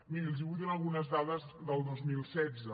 miri els vull donar algunes dades del dos mil setze